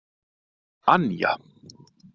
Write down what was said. Anja